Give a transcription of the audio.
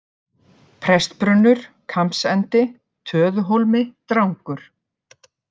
Prestbrunnur, Kambsendi, Töðuhólmi, Drangur